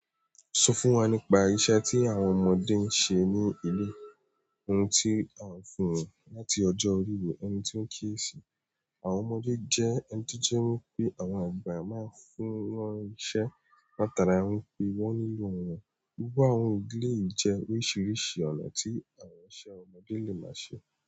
Sọ fún wa nípa irinṣẹ́ tí àwọn ọmọdé ń ṣe ní ilé, ohun tí à n fún wọn láti ọjọ́ orí wò, ẹni tí ó ń kíyèsí. Àwọn ọmọdé jẹ́ ẹni tó jẹ́ wípé àwọn àgbà máa ń fún wọn ní iṣẹ́, látara wípé wọ́n nílò wọ́n. Gbogbo àwọn ìdílé yìí jẹ́ oríṣiríṣi ọ̀nà tí àwọn iṣẹ́ ọmọdé lè máa ṣe.